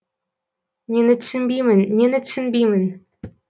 нені түсінбеймін нені түсінбеймін